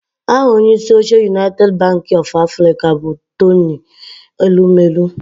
Aha onyeisi oche Unaited banki ọf Afrịka bụ Tony Elumelu